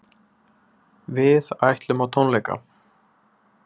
Við ætlum á tónleika.